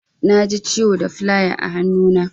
Naji ciwo da filaya a hannu na.